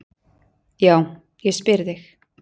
Já, ég spyr þig.